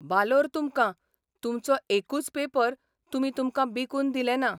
बालोर तुमकां तुमचो एकूच पेपर तुमी तुमकां बिकून दिलें ना.